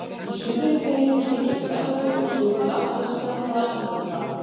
Í suðri teygir hún sig í gegnum Evrópu og suður til Atlas-fjalla í Norður-Afríku.